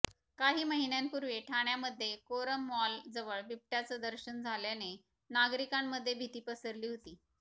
काही महिन्यांपूर्वी ठाण्यामध्ये कोरम मॉल जवळ बिबट्याचं दर्शन झाल्याने नागरिकांमध्ये भीती पसरली होती